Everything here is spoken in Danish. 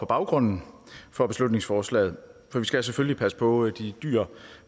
baggrunden for beslutningsforslaget for vi skal selvfølgelig passe på de dyr